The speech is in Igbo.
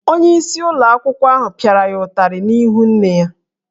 Onyeisi ụlọ akwụkwọ ahụ pịara ya ụtarị n’ihu nne ya